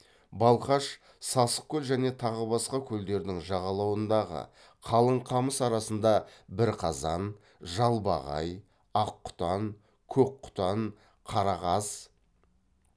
балқаш сасықкөл және тағы басқа көлдердің жағалауындағы қалың қамыс арасында бірқазан жалбағай аққұтан көкқұтан қарақаз